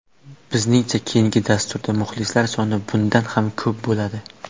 Bizningcha keyindi dasturda muxlislar soni bundan ham ko‘p bo‘ladi.